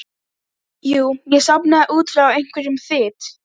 Steinninn er linur, álíka og mjúkur hverfisteinn en eitlarnir allharðir.